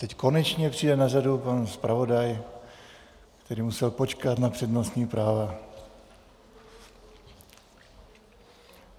Teď konečně přijde na řadu pan zpravodaj, který musel počkat na přednostní právo.